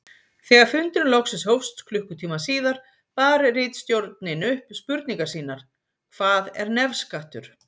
Þegar fundurinn loksins hófst klukkutíma síðar bar ritstjórnin upp spurningar sínar: Hvað er nefskattur?